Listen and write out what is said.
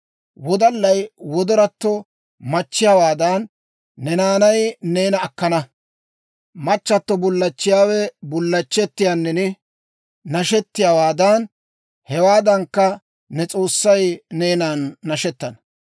Wodallay wodoratto machchiyaawaadan, ne naanay neena akkana; machchato bullachchiyaawe bullachchettiyaanin nashettiyaawaadan, hewaadankka, ne s'oossay neenan nashettana.